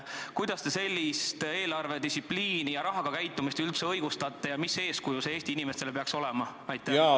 Kuidas te sellist eelarvedistsipliini ja rahaga käitumist üldse õigustate ja mis eeskuju peaks see Eesti inimestele andma?